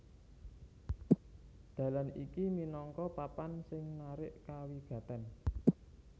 Dalan iki minangka papan sing narik kawigatèn